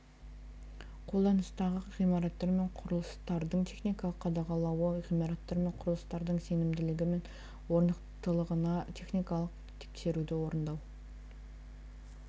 қолданыстағы ғимараттар мен құрылыстардың техникалық қадағалауы ғимараттар мен құрылыстардың сенімділігі мен орнықтылығына техникалық тексеруді орындау